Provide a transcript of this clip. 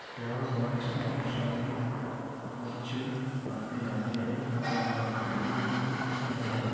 यहाँ पर बहुत सारे बच्चे आते जाते है और यहाँ कपड़े की भी सुविधा है।